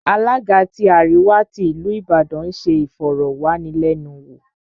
Alága tí àríwá tí ìlú Ìbàdàn ń se ìfọ̀rọ̀wánilẹ́nuwò